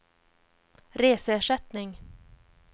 reseersättning